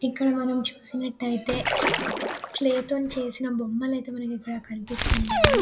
ఇక్కడ మనం చూసినట్లయితే క్లే తో చేసిన బొమ్మలు అయితే మనకి ఇక్కడ కనిపిస్తున్నాయి.